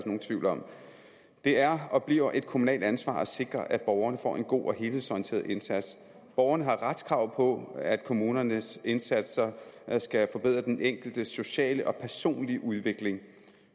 nogen tvivl om det er og bliver et kommunalt ansvar at sikre at borgerne får en god og helhedsorienteret indsats borgerne har retskrav på at kommunernes indsatser skal forbedre den enkeltes sociale og personlige udvikling